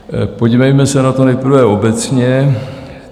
Podívejme se na to nejprve obecně.